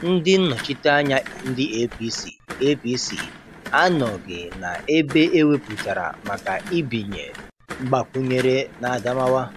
Ndị nnọchiteanya ndị APC APC anọghị na ebe eweputara maka ibinye Mgbakwunyere n' Adamawa.